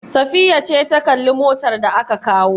Safiya ce ta kalli motar da aka kawo?